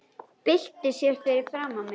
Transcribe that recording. Byltir sér fyrir framan mig.